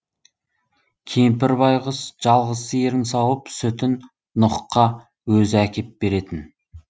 кемпір байқұс жалғыз сиырын сауып сүтін нұһқа өзі әкеп беретін